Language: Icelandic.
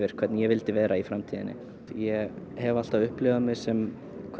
hvernig ég vildi vera í framtíðinni ég hef alltaf upplifað mig sem